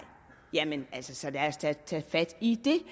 jamen så lad os da tage fat i det